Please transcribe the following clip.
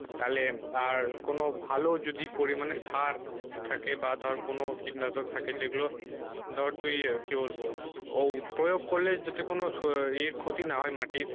তাহলে আর কোনো ভালো যদি পরিমানে সার থাকে বা ধর কোনো কীটনাশক থাকে যেগুলো ধর তুই কি বলবো প্রয়োগ করলে যাতে কোনো এর ক্ষতি না হয় মাটির